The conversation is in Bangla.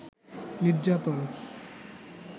নির্যাতন